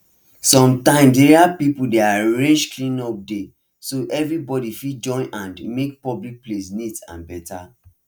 sometimes area people dey arrange cleanup day so everybody fit join hand make public place neat and better